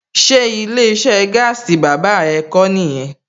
Ṣé ilé iṣẹ́ gaasi bàbá ẹ kó nìyẹn?